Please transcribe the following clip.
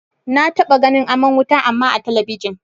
Na taɓa ganin aman wuta amma a talabijin.